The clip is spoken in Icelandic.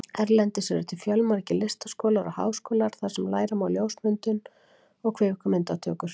Erlendis eru til fjölmargir listaskólar og háskólar þar sem læra má ljósmyndun og kvikmyndatökur.